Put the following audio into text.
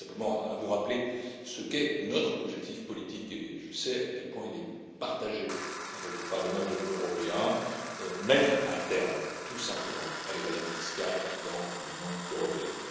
Je tiens simplement à vous rappeler ce qu'est notre objectif politique et je sais à quel point il est partagé par le Parlement européen à savoir mettre un terme, tout simplement, à l'évasion fiscale dans l'Union européenne.